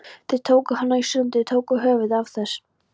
Þeir tóku hana í sundur. tóku höfuðið af þess